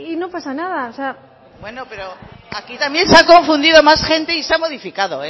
no pasa nada o sea bueno pero aquí también se ha confundido más gente y se ha modificado